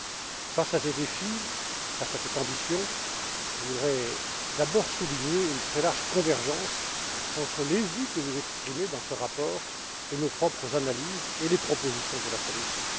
Compte tenu de ces défis et de cette ambition, je voudrais d'abord souligner une très large convergence entre les vues que vous exprimez dans ce rapport, et nos propres analyses et les propositions de la Commission.